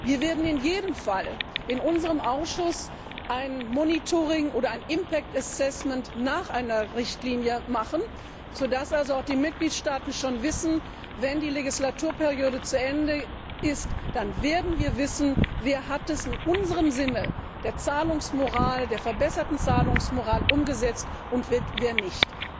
ist. Wir werden in jedem Fall in unserem Ausschuss ein Monitoring oder ein Impact Assessment nach einer Richtlinie machen, so dass also auch die Mitgliedstaaten schon wissen, wenn die Legislaturperiode zu Ende ist, dann wird bekannt sein, wer es in unserem Sinne der verbesserten Zahlungsmoral umgesetzt hat und wer nicht.